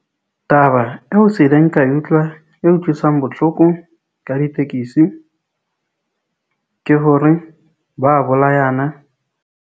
Taba eo se ileng ka utlwa e utlwisang botlhoko ka ditekesi ke hore ba bolayana.